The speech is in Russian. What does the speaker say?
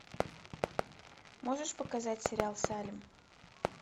можешь показать сериал салем